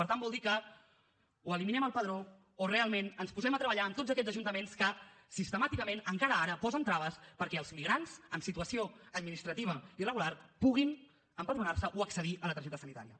per tant vol dir que o eliminem el padró o realment ens posem a treballar amb tots aquests ajuntaments que sistemàticament encara ara posen traves perquè els migrants en situació administrativa irregular puguin empadronar se o accedir a la targeta sanitària